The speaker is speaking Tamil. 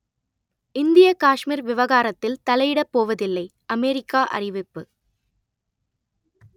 இந்தியக் காஷ்மீர் விவகாரத்தில் தலையிடப் போவதில்லை அமெரிக்கா அறிவிப்பு